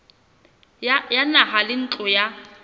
ya naha le ntlo ya